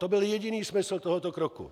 To byl jediný smysl tohoto kroku.